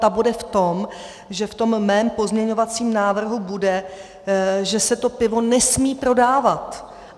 Ta bude v tom, že v tom mém pozměňovacím návrhu bude, že se to pivo nesmí prodávat.